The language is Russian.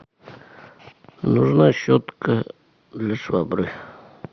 нужна щетка для швабры